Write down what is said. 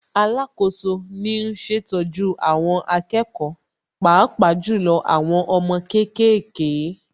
Alákoso ni ń ṣètọ́jú àwọn akẹ́kọ̀ọ́ Pàápàá jù lọ àwọn ọmọ kéékèèké